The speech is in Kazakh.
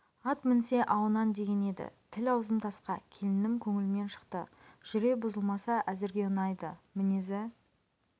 ат мінсе ауынан деген еді тіл аузым тасқа келінім көңілімнен шықты жүре бұзылмаса әзірге ұнайды мінезі